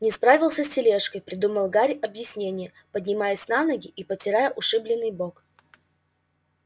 не справился с тележкой придумал гарри объяснение поднимаясь на ноги и потирая ушибленный бок